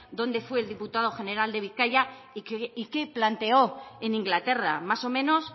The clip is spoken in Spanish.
dónde fue el diputado general de bizkaia y qué planteó en inglaterra más o menos